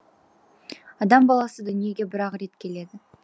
адам баласы дүниеге бір ақ рет келеді